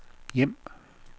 hjem